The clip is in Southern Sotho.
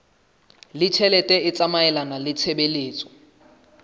ditjhelete e tsamaelana le tshebetso